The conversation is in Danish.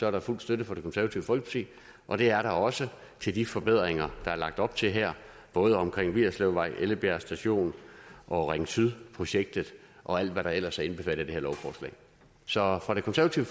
er fuld støtte fra det konservative folkeparti og det er der også til de forbedringer der er lagt op til her både omkring vigerslevvej ellebjerg station og ring syd projektet og alt hvad der ellers er indbefattet af det her lovforslag så fra det konservative